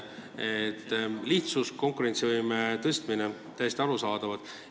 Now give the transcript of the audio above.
Lihtsus ja konkurentsivõime tõstmine – täiesti arusaadavad.